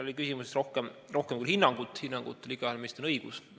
Selles küsimuses oli rohkem küll hinnangut ja hinnangule on igaühel meist õigus.